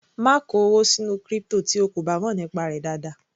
Má kó owó sínú crypto tí o kò bá mọ̀ nípa rẹ̀ dáadáa.